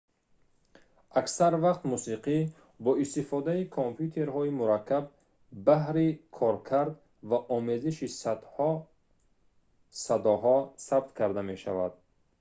аксар вақт мусиқӣ бо истифодаи компютерҳои мураккаб баҳри коркард ва омезиши садоҳо сабт карда мешавад